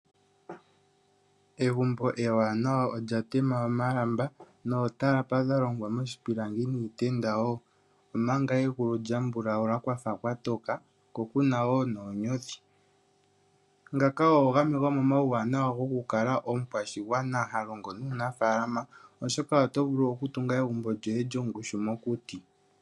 Egumbo ewanawa olya tema omalamba nootalapa dha longwa moshipilangi niitenda wo, omanga egulu lya mbulaula kwa fa kwa toka ko ku na wo noonyothi. Ngaka ogo gamwe gomomauwanawa gokukala omukwashigwana ha longo nuunafaalama, oshoka oto vulu okutunga egumbo lyoye lyongushu mokuti.